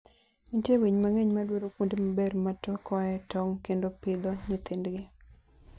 Nitie winy mang'eny madwaro kuonde maber ma tokoe tong' kendo pidho nyithindgi.